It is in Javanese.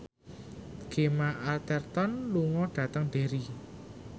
Gemma Arterton lunga dhateng Derry